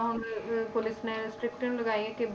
ਹੁਣ ਅਹ ਪੁਲਿਸ ਨੇ strict ਲਗਾਈਆਂ ਕਿ